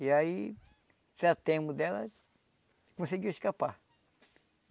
E aí, se atemos dela conseguiu escapar.